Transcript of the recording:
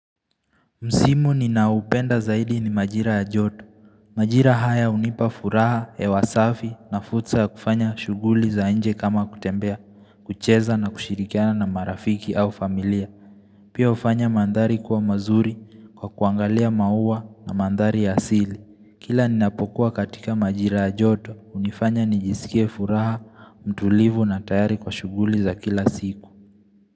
Msimu ninaupenda zaidi ni majira ya joto. Majira haya unipa furaha, hewa safi na fursa ya kufanya shughuli za nje kama kutembea, kucheza na kushirikiana na marafiki au familia. Pia ufanya mandari kwa mazuri kwa kuangalia maua na mandari ya asili. Kila ninapokuwa katika majira ya joto, unifanya nijisikie furaha, mtulivu na tayari kwa shughuli za kila siku.